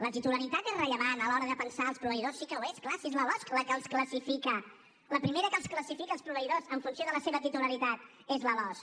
la titularitat és rellevant a l’hora de pensar els proveïdors sí que ho és és clar si és la losc la que els classifica la primera que els classifica els proveïdors en funció de la seva titularitat és la losc